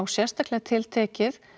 sérstaklega tiltekið